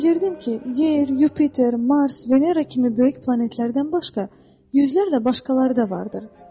Mən bilirdim ki, Yer, Yupiter, Mars, Venera kimi böyük planetlərdən başqa, yüzlərlə başqaları da vardır.